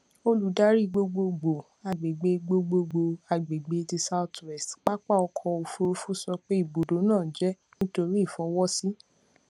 oludari gbogbogbo agbegbe gbogbogbo agbegbe ti south west papa ọkọ ofurufu sọ pe ibudo naa jẹ nitori ifọwọsi